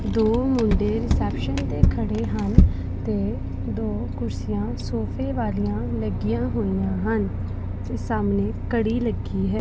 ਦੋ ਮੁੰਡੇ ਰਿਸੈਪਸ਼ਨ ਤੇ ਖੜੇ ਹਨ ਤੇ ਦੋ ਕੁਰਸੀਆਂ ਸੋਫੇ ਵਾਲੀਆਂ ਲੱਗੀਆਂ ਹੋਈਆਂ ਹਨ ਤੇ ਸਾਹਮਣੇ ਘੜੀ ਲੱਗੀ ਹੈ।